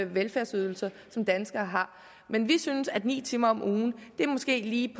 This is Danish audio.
velfærdsydelser som danskere har men vi synes at ni timer om ugen måske lige